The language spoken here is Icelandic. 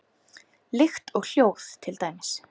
Lykt og hljóð til dæmis.